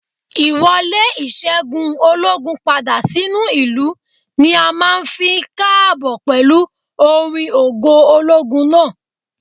Ì wọlé ìṣẹ́gun ológun padà sínú ìlú ni a máa ń fi k'ààbò pẹ̀lú orin ògo ológun náà